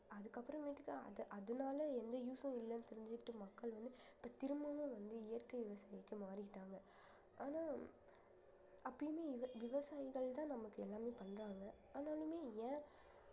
அதுக்கப்புறமேட்டுதான் அது அதனால எந்த use ம் இல்லன்னு தெரிஞ்சுக்கிட்டு மக்கள் வந்து இப்ப திரும்பவும் வந்து இயற்கை விவசாயத்துக்கு மாறிட்டாங்க ஆனா அப்பயுமே விவ~ விவசாயிகள்தான் நமக்கு எல்லாமே பண்றாங்க ஆனாலுமே ஏன்